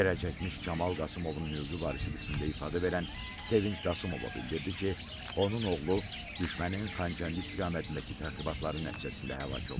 Zərərçəkmiş Kamal Qasımovun hüquqi varisi qismində ifadə verən Sevinc Qasımova bildirdi ki, onun oğlu düşmənin Xankəndi istiqamətindəki təxribatları nəticəsində həlak olub.